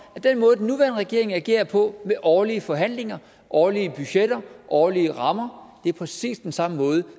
at den måde den nuværende regering agerer på med årlige forhandlinger årlige budgetter årlige rammer præcis er den samme måde